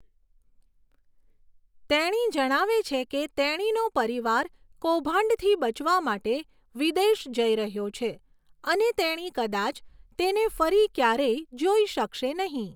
તેણી જણાવે છે કે તેણીનો પરિવાર કૌભાંડથી બચવા માટે વિદેશ જઈ રહ્યો છે અને તેણી કદાચ તેને ફરી ક્યારેય જોઈ શકશે નહીં.